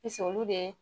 Pise olu de